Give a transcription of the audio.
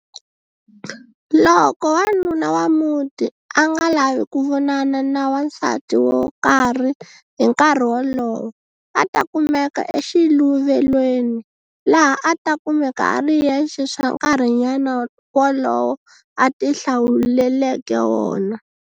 Loko wanuna wa muti a nga lavi ku vonana na wansati wo karhi hi nkarhi wolowo a ta kumeka exiluvelweni, laha a ta kumeka a ri yexe swa nkarhinyana wolowo a ti hlawuleleke wona.